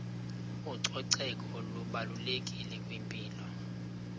ucoceko lubalulekile kwimpilo